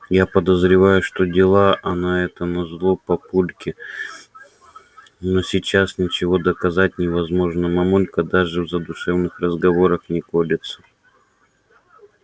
я подозреваю что делала она это назло папульке но сейчас ничего доказать невозможно а мамулька даже в задушевных разговорах не колется